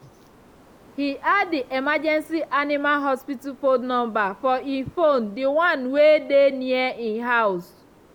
he add the emergency animal hospital phone number for e phone d one wey dey near e house